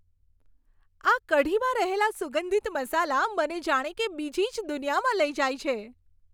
આ કઢીમાં રહેલા સુગંધિત મસાલા મને જાણે કે બીજી જ દુનિયામાં લઈ જાય છે.